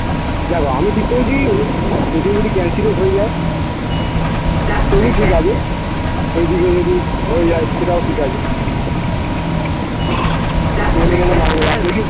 দ্যাখো আমি ঠিক করেছি ঐদিকে যদি cancel ও হয়ে যায় তবু ঠিক আছে এইদিকে যদি হয়ে যায় সেটাও ঠিক আছে